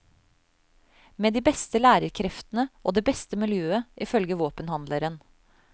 Med de beste lærerkreftene og det beste miljøet ifølge våpenhandleren.